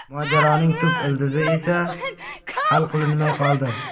Mojaroning tub ildizi esa hal qilinmay qoldi.